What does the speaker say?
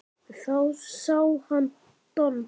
Þá sá hann Don